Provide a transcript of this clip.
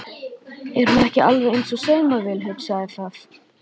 Er hún ekki alveg eins og saumavél, hugsaði það.